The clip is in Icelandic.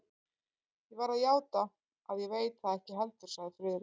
Ég verð að játa, að ég veit það ekki heldur sagði Friðrik.